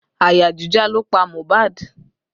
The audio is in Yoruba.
Àyà jíjá ló pa Mohbad